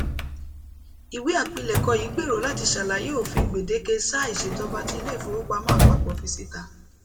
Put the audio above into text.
iwe apilẹkọ yii gbero lati ṣalaye ofin gbedeke saa iṣejọba ti ile ifowopamọ apapọ fi sita